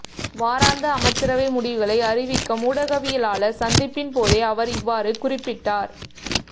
வாராந்த அமைச்சரவை முடிவுகளை அறிவிக்கும் ஊடகவியலாளர் சந்திப்பின் போதே அவர் இவ்வாறு குறிப்பிட்டார்